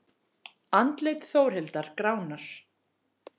Andlit Þórhildar gránar.